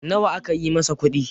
nawa aka yi masa kudi?